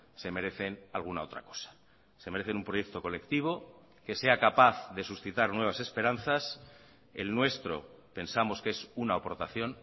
se merecen alguna otra cosa se merecen un proyecto colectivo que sea capaz de suscitar nuevas esperanzas el nuestro pensamos que es una aportación